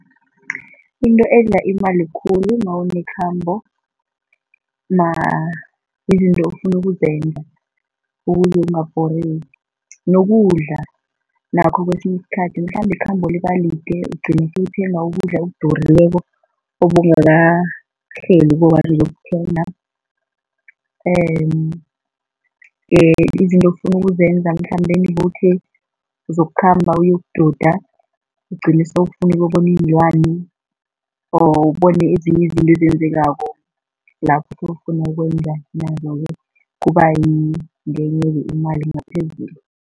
Into edla imali khulu nawunekhambo izinto ofuna ukuzenza ukuze ungabhoreki. Nokudla nakho kwesinye isikhathi, mhlambe ikhambo libalide ugcine sewuthenga ukudla okudurileko obowungakahleli uyokuthenga izinto ofuna ukuzenza mhlambe njengokuthi zokukhamba uyokududa, ugcine sewufuna ukuyokubona iinlwane, awa ubone ezinye izinto ezenzekako lapho sewufuna ukwenza nazo-ke, kubangenye imali ngaphezulu.